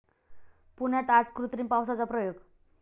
पुण्यात आज कृत्रिम पावसाचा प्रयोग